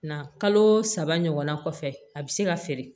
Na kalo saba ɲɔgɔnna kɔfɛ a bɛ se ka feere